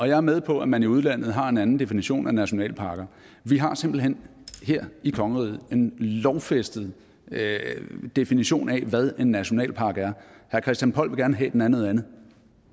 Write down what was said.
jeg er med på at man i udlandet har en definition af nationalparker vi har simpelt hen her i kongeriget en lovfæstet definition af hvad en nationalpark er herre christian poll vil gerne have at den er noget andet